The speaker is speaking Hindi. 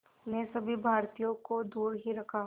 ने सभी भारतीयों को दूर ही रखा